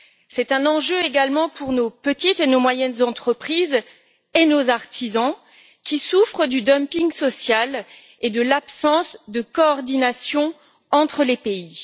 C'est un enjeu également pour nos petites et nos moyennes entreprises et nos artisans qui souffrent du dumping social et de l'absence de coordination entre les pays.